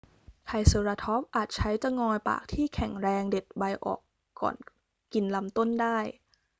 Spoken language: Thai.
ไทรเซอราทอปส์อาจใช้จะงอยปากที่แข็งแรงเด็ดใบออกก่อนกินลำต้นได้